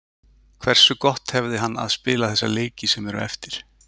Hversu gott hefði hann að spila þessa leiki sem eru eftir?